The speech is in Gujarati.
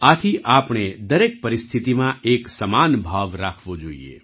આથી આપણે દરેક પરિસ્થિતિમાં એક સમાન ભાવ રાખવો જોઈએ